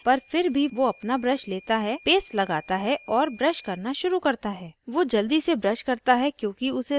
वो नींद में होता है पर फिर भी वो अपना brush लेता है paste लगता है और brush करना शुरू करता है